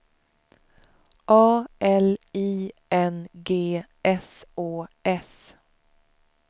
A L I N G S Å S